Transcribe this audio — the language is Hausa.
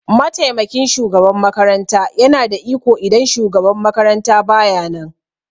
mataimakin shugaban makaranta yana da iko idan shugaban makaranta baya nan.